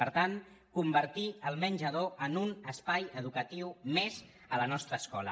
per tant convertir el menjador en un es·pai educatiu més a la nostra escola